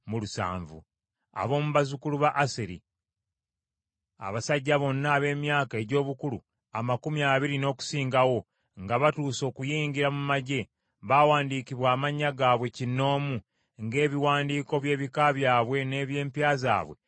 Ab’omu bazzukulu ba Aseri: Abasajja bonna ab’emyaka egy’obukulu amakumi abiri n’okusingawo, nga batuuse n’okuyingira mu magye, baawandiikibwa amannya gaabwe kinnoomu, ng’ebiwandiiko by’ebika byabwe n’eby’empya zaabwe bwe byali.